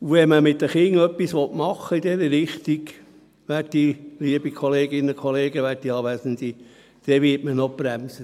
Wenn man mit den Kindern etwas in diese Richtung machen will, liebe Kolleginnen und Kollegen, werte Anwesende, dann wird man noch gebremst.